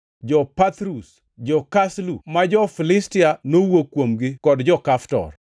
Jo-Pathrus, jo-Kaslu (ma jo-Filistia nowuok kuomgi) kod jo-Kaftor.